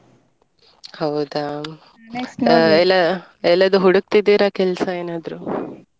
ಹೌದಾ ಇಲ್ಲ ಎಲ್ಲಾದ್ರು ಹುಡುಕ್ತಿದ್ದೀರಾ ಕೆಲ್ಸ ಏನಾದ್ರು.